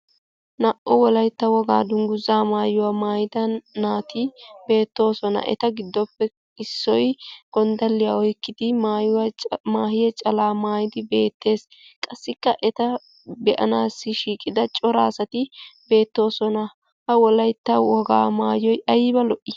Naa"u wolaytta wogaa dungguzaa maayuwa maayida naati beettoosona. Eta giddoppe issoy gonddalliya oykkidi maahiya calaa maayidi beettees. Qassikka eta be'anaassi shiiqida cora asati beettoosona. Ha wolaytta wogaa maayoy ayba lo"ii!